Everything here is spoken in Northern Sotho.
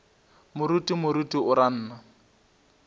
moruti moruti o ra nna